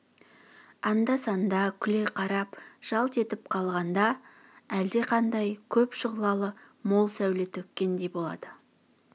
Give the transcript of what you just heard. анда-санда күле қарап жалт етіп қалғанда әлде қандай көп шұғлалы мол сәуле төккендей болады